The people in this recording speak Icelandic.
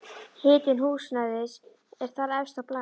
Hitun húsnæðis er þar efst á blaði.